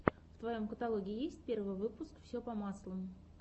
в твоем каталоге есть первый выпуск все по маслу